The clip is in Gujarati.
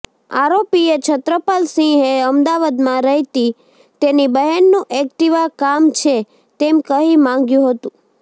આરોપીએ છત્રપાલસિંહએ અમદાવાદમાં રહેતી તેની બહેનનું એક્ટિવા કામ છે તેમ કહી માંગ્યું હતું